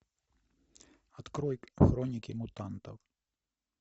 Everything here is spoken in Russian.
открой хроники мутантов